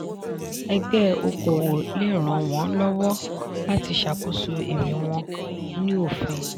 ẹ̀gbẹ́ okòwò le ràn wọ́n lọ́wọ́ láti ṣakoso èrè wọ́n ní òfin.